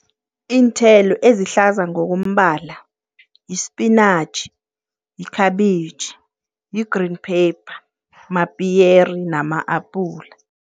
Iinthelo ezihlaza ngokombala, yispinatjhi, yikhabitjhi, yi-green pepper, mapiyere nama-apula.